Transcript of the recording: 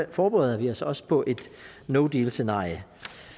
forbereder vi os også på et no deal scenarie